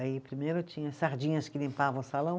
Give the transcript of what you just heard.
Aí primeiro tinha sardinhas que limpavam o salão.